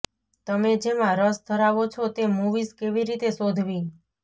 તમે જેમાં રસ ધરાવો છો તે મૂવીઝ કેવી રીતે શોધવી